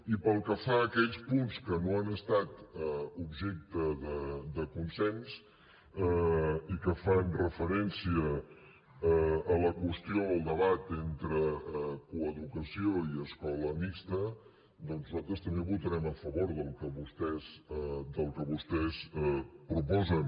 i pel que fa a aquells punts que no han estat objecte de consens i que fan referència a la qüestió al debat entre coeducació i escola mixta doncs nosaltres també votarem a favor del que vostès proposen